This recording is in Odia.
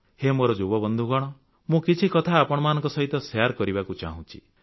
ହେ ମୋର ଯୁବ ବନ୍ଧୁଗଣ ମୁଁ କିଛି କଥା ଆପଣମାନଙ୍କ ସହିତ ଶେୟାର କରିବାକୁ ଚାହୁଁଛି